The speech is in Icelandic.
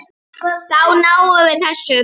Þá náðum við þessu.